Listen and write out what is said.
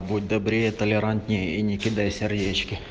будь добрее толерантнее и не кидай сердечки